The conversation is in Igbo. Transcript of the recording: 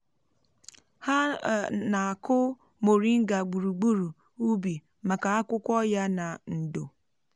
ha um na-akụ moringa gburugburu ubi maka akwụkwọ ya na ndò.